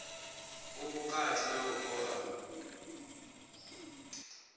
u vhukati na u oa